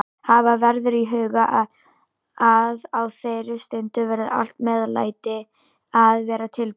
Hafa verður í huga að á þeirri stundu verður allt meðlæti að vera tilbúið.